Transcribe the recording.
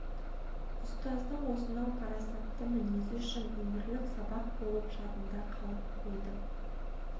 ұстаздың осынау парасатты мінезі үшін өмірлік сабақ болып жадында қалып қойды